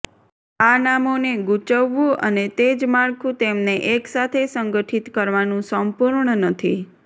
આ નામોને ગૂંચવવું અને તે જ માળખું તેમને એકસાથે સંગઠિત કરવાનું સંપૂર્ણ નથી